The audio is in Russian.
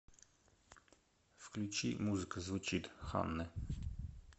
включи музыка звучит ханны